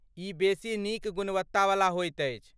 ई बेसी नीक गुणवत्तावला होइत अछि।